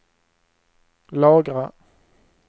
lagra